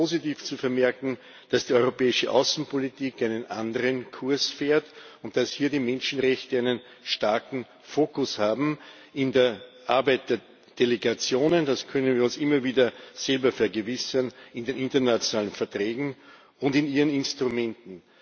Es ist sehr positiv zu vermerken, dass die europäische Außenpolitik einen anderen Kurs fährt und dass hier die Menschenrechte einen starken Fokus haben in der Arbeit der Delegationen. Dessen können wir uns immer wieder selber vergewissern in den internationalen Verträgen und in ihren Instrumenten.